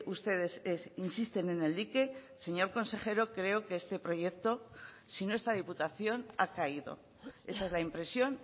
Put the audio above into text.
ustedes insisten en el dique señor consejero creo que este proyecto si no está diputación ha caído esa es la impresión